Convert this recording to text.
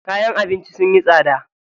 Kayan abinci sunyi tsada.